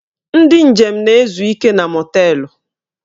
Ndị njem na-ezu ike na mọteelụ